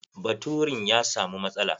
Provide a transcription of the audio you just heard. Baturin ya samu matsala.